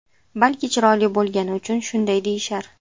Balki chiroyli bo‘lgani uchun shunday deyishar?